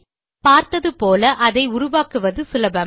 பார்த்தது போல அதை உருவாக்குவது சுலபமே